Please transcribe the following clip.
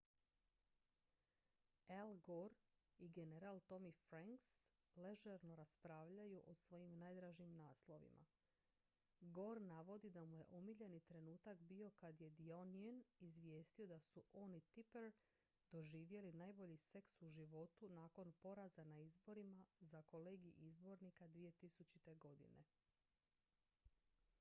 al gore i general tommy franks ležerno raspravljaju o svojim najdražim naslovima gore navodi da mu je omiljeni trenutak bio kad je the onion izvijestio da su on i tipper doživjeli najbolji seks u životu nakon poraza na izborima za kolegij izbornika 2000. godine